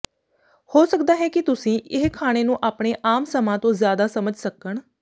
ਹੋ ਸਕਦਾ ਹੈ ਕਿ ਤੁਸੀਂ ਇਹ ਖਾਣੇ ਨੂੰ ਆਪਣੇ ਆਮ ਸਮਾਂ ਤੋਂ ਜ਼ਿਆਦਾ ਸਮਝ ਸਕਣ